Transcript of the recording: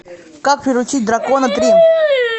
как приручить дракона три